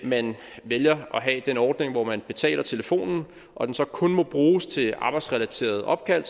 man vælger at have den ordning hvor man betaler telefonen og den så kun må bruges til arbejdsrelaterede opkald